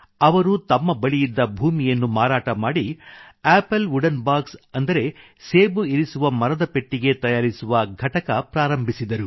ಅವರು ತಮ್ಮ ಬಳಿಯಿದ್ದ ಭೂಮಿಯನ್ನು ಮಾರಾಟ ಮಾಡಿ ಆಪಲ್ ವುಡೆನ್ ಬಾಕ್ಸ್ ಅಂದರೆ ಸೇಬು ಇರಿಸುವ ಮರದ ಪೆಟ್ಟಿಗೆ ತಯಾರಿಸುವ ಘಟಕ ಪ್ರಾರಂಭಿಸಿದರು